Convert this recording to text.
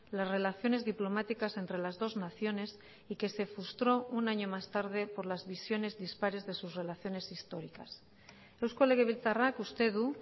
las relaciones diplomáticas entre las dos naciones y que se frustró un año más tarde por las visiones dispares de sus relaciones históricas eusko legebiltzarrak uste du